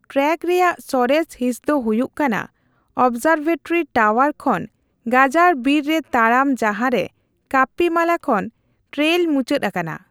Track ᱨᱮᱭᱟᱜ ᱥᱚᱨᱮᱥ ᱦᱤᱸᱥ ᱫᱚ ᱦᱩᱭᱩᱜ ᱠᱟᱱᱟ ᱚᱵᱽᱡᱟᱨᱵᱷᱮᱴᱨᱤ ᱴᱟᱣᱟᱨ ᱠᱷᱚᱱ ᱜᱟᱡᱟᱲ ᱵᱤᱨ ᱨᱮ ᱛᱟᱲᱟᱢ ᱡᱟᱦᱟᱸᱨᱮ ᱠᱟᱯᱯᱤᱢᱟᱞᱟ ᱠᱷᱚᱱ ᱴᱨᱮᱹᱭᱞ ᱢᱩᱪᱟᱹᱫ ᱟᱠᱟᱱᱟ ᱾